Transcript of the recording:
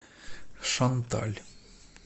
шанталь